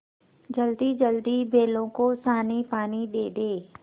जल्दीजल्दी बैलों को सानीपानी दे दें